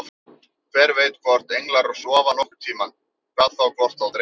Hver veit hvort englar sofa nokkurn tímann, hvað þá hvort þá dreymir.